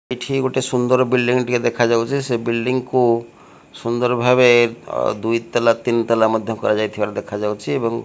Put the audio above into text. ଏଠି ଗୋଟେ ସୁନ୍ଦର ବିଲ୍ଡିଙ୍ଗ୍ ଟିଏ ଦେଖାଯାଉଛି ସେ ବିଲ୍ଡିଙ୍ଗ୍ କୁ ସୁନ୍ଦର ଭାବେ ଅ ଦୁଇ ତାଲା ତିନି ତାଲା ମଧ୍ଯ କରାଯାଇଥିବାର ଦେଖାଯାଉଛି ଏବଂ --